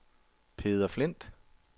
Peder Flindt